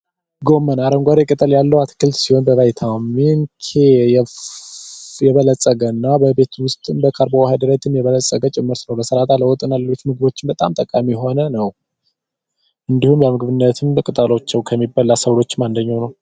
ቆስጣ አረንጓዴ ቅጠል ያለው ሲሆን በቫይታሚን ኬ የበለፀገ እና በቤት ውስጥ በካርቦ ሀይድሬት የበለፀገ ሰላጣ ለወጥና ለተለያዩ ምግቦች በጣም ጠቃሚ የሆነ ነው እንዲሁም ለምግብነት ቅጠሉ ከሚበሉ ሰብሎች አንደኛው ነው።